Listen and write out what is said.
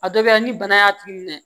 A dɔ kɛra ni bana y'a tigi minɛ